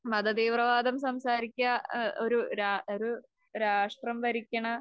മതതീവ്രവാദം സംസാരിക്കുക ഏഹ് ഒരു രാ, ഒരു രാഷ്ട്രം ഭരിക്കണ